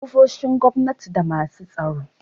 ofoshin gwamna da masu tsaro